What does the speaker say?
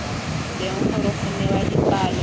teng gore go newa dipalo